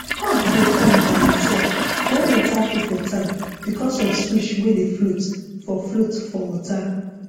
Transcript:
pump dey on by itself when water full for tank because of switch wey dey float for float for water